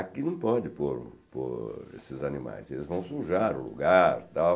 Aqui não pode pôr pôr esses animais, eles vão sujar o lugar, tal,